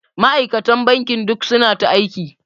Ma'aikatan bankin duk suna ta aiki.